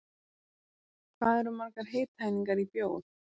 Hvað eru margar hitaeiningar í bjór?